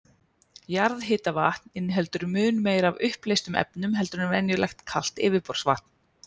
Jarðhitavatn inniheldur mun meira af uppleystum efnum en venjulegt kalt yfirborðsvatn.